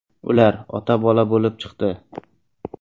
Ular ota-bola bo‘lib chiqdi .